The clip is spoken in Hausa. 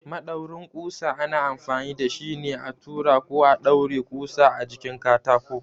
Maɗaurin ƙusa ana amfani da shi ne a tura ko ɗaure ƙusa a jikin katako.